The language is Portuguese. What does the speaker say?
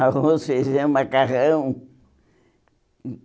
Arroz, feijão, macarrão.